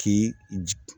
K'i